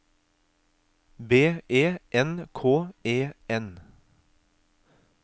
B E N K E N